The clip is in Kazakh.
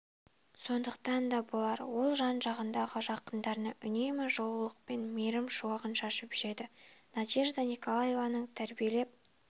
сондықтан да болар ол жан-жағындағы жақындарына үнемі жылулық пен мейірім шуағын шашып жүреді надежда николаеваның тәрбиелеп